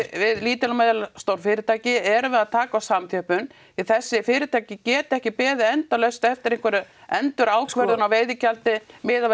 við lítil og meðalstór fyrirtæki erum við að taka eftir samþjöppun því þessi fyrirtæki geta ekki beðið endalaust eftir einhverri endurákvörðun á veiðigjaldi miðað við